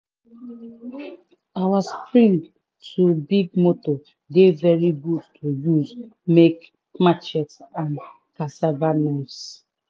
old spring to big motor dey very good to use make machetes and cassava knives.